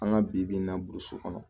An ka bi bi in na burusi kɔnɔ